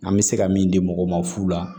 An bɛ se ka min di mɔgɔw ma fu la